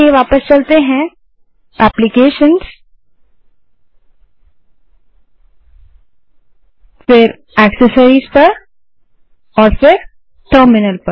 तो चलिए वापस चलते हैं एप्लीकेशंस gt एक्सेसरिस और फिर टर्मिनल